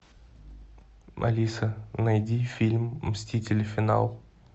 алиса найди фильм мстители финал